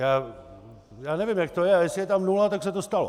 Já nevím, jak to je, ale jestli je tam nula, tak se to stalo.